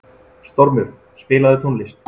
Stormur, spilaðu tónlist.